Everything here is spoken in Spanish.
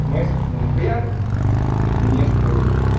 no es ni es real, ni es político.